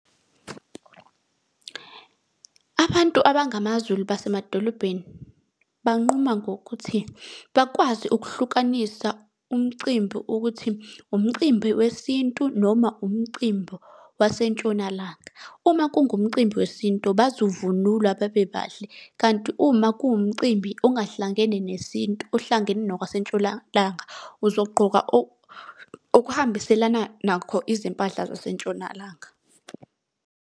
Abantu abangamaZulu basemadolobheni banquma ngokuthi, bakwazi ukuhlukanisa umcimbi ukuthi, umcimbi wesintu noma umcimbi wasentshonalanga. Uma kungumcimbi wesintu bazovunula babe bahle. Kanti uma kuwumcimbi ongahlangene nesintu ohlangene nokwasentshonalanga, uzogqoka okuhambiselana nakho izimpahla zasentshonalanga.